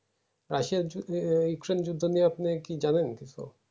রাশিয়ার যুদ্ধ ইউক্রেইন্ যুদ্ধ নিয়ে আপনি কি জানেন